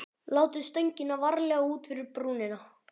Látið stöngina varlega út fyrir brúnina.